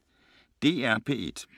DR P1